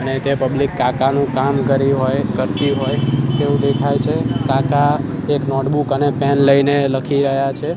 અને તે પબ્લિક કાકાનું કામ કરી હોય કરતી હોય તેવુ દેખાય છે કાકા એક નોટબુક અને પેન લઈને લખી રહ્યા છે.